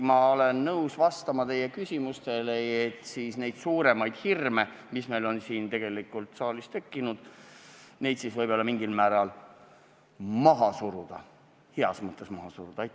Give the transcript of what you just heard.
Ma olen nõus vastama teie küsimustele, et suuremaid hirme, mis meil on siin saalis tekkinud, mingil määral maha suruda – heas mõttes maha suruda.